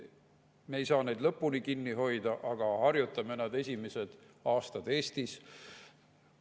Me ei saa neid lõpuni kinni hoida, aga harjutame neid esimeste aastate jooksul Eestis.